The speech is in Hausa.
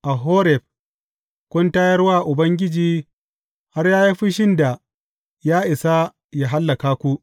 A Horeb, kun tayar wa Ubangiji har ya yi fushin da ya isa yă hallaka ku.